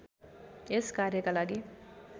यस कार्यका लागि